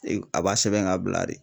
A b'a sɛbɛn ka bila de